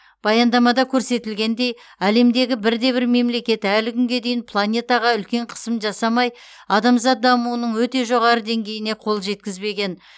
баяндамада көрсетілгендей әлемдегі бірде бір мемлекет әлі күнге дейін планетаға үлкен қысым жасамай адамзат дамуының өте жоғары деңгейіне қол жеткізбеген